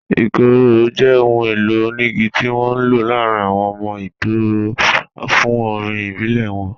Ikoro jẹ́ ọ̀hùn èlò oníìgí tí wọn n ló láàrín àwọn ọmọ Ìgbò fún orín ìbílẹ̀ wọn